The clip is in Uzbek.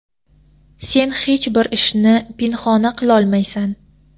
Sen hech bir ishni pinhona qilolmaysan.